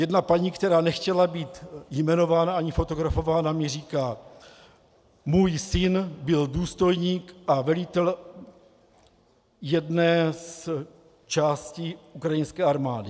Jedna paní, která nechtěla být jmenována ani fotografována, mi říká: Můj syn byl důstojník a velitel jedné z částí ukrajinské armády.